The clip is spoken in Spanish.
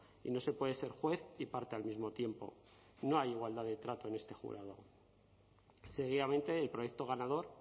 y no se puede ser juez y parte al mismo tiempo no hay igualdad de trato en este jurado seguidamente el proyecto ganador